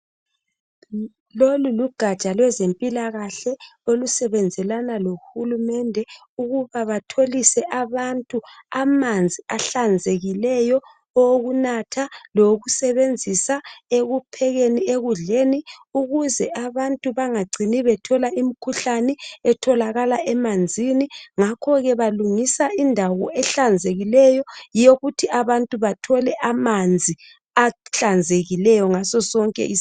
Lolu lugatsha lwezempilakahle olusebenzelana lohulumende ukuba batholise abantu amanzi ahlanzekileyo okunatha lawokusebenzisa ekuphekeni ekudleni ukuze abantu bangacini bethola imikhuhlane etholakala emanzini. Ngakho-ke balungisa indawo ehlanzekileyo yokuthi abantu abathole amanzi ahlanzekileyo ngasosonke isikhathi.